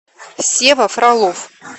сева фролов